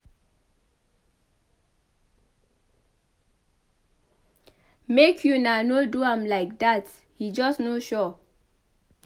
Make una no do am like dat he just no sure.